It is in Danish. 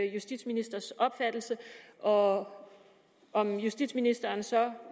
justitsministers opfattelse og om justitsministeren så